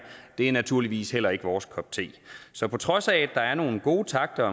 er naturligvis heller ikke vores kop te så på trods af at der er nogle gode takter